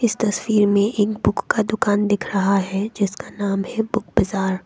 इस तस्वीर में एक बुक का दुकान दिख रहा है जिसका नाम है बुक बाजार ।